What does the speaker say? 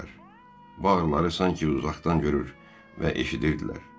Bağrıları sanki uzaqdan görür və eşidirdilər.